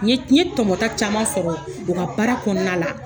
N ye n ye tɔmɔta caman sɔrɔ u ka baara kɔnɔna la.